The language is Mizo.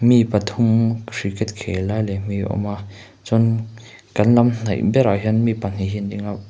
mi pathum cricket khel lai lem hi a awm a chuan kan lam hnaih berah hian mi pahnih hi an ding a.